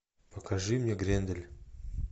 покажи мне грендель